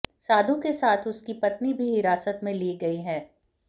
साधू के साथ उसकी पत्नी भी हिरासत में ली गई है